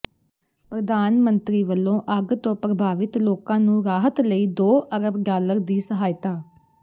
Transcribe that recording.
ਪ੍ਰਧਾਨ ਮੰਤਰੀ ਵਲੋਂ ਅੱਗ ਤੋਂ ਪ੍ਰਭਾਵਿਤ ਲੋਕਾਂ ਨੂੰ ਰਾਹਤ ਲਈ ਦੋ ਅਰਬ ਡਾਲਰ ਦੀ ਸਹਾਇਤਾ